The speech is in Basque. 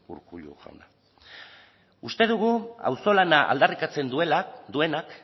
urkulu jauna uste dugu auzolana aldarrikatzen duenak